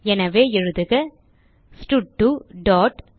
எனவே எழுதுக ஸ்டட்2 டாட்